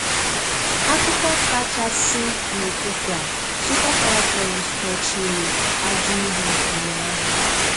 Akụkọ kachàsị n’ụ́tụtụ a:Super Falcons kpọ̀chùrù ajọ̀ ihu ụ̀nyàhụ.